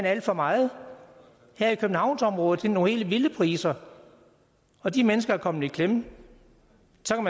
alt for meget her i københavnsområdet er der nogle helt vilde priser og de mennesker er kommet i klemme